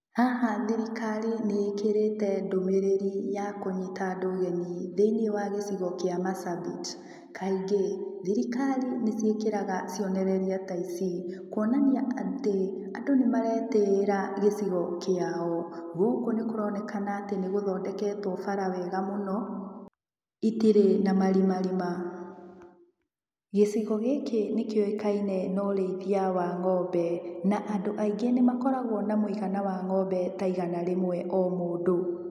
Haha thirikari nĩĩkĩrĩte ndũmĩrĩri ya kũnyita andũ ũgeni thĩ-inĩ wa gĩcigo kĩa Marsabit. Kaingĩ, thirikari nĩciĩkĩraga cionereria ta ici, kuonania atĩ, andũ nĩ maretĩĩra gĩcigo kĩao, gũkũ nĩ kũronekana atĩ nĩ gũthondeketwo bara wega mũno, itirĩ na marima rima. Gĩcigo gĩkĩ nĩ kĩũĩkaine na ũrĩithia wa ngómbe, na andũ aingĩ nĩ makoragwo na mũigana wa ng'ombe ta igana rĩmwe o mũndũ.